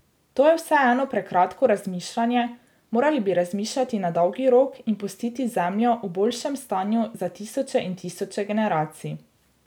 To je vseeno prekratko razmišljanje, morali bi razmišljati na dolgi rok in pustiti Zemljo v boljšem stanju za tisoče in tisoče generacij.